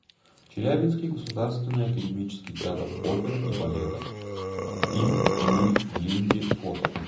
челябинский государственный академический театр оперы и балета им ми глинки фото